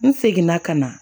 N seginna ka na